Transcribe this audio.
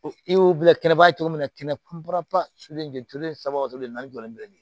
I y'o bila kɛnɛba cogo min na kɛnɛba sulenturu saba o tulu naani jɔlen bɛn ni